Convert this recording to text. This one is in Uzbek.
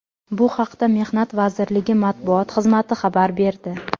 Bu haqda Mehnat vazirligi matbuot xizmati xabar berdi .